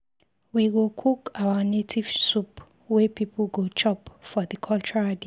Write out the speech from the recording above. We go cook our native soup wey pipu go chop for di cultural day.